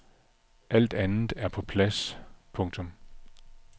Alt andet er på plads. punktum